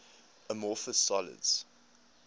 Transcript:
amorphous solids